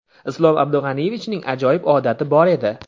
Islom Abdug‘aniyevichning ajoyib odati bor edi.